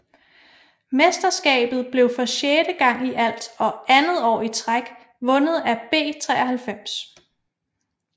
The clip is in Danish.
Mesterskabet blev for sjette gang i alt og andet år i træk vundet af B 93